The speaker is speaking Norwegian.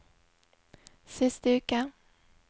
siste uke